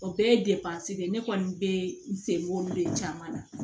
O bɛɛ ye de ye ne kɔni be n sen b'olu de caman na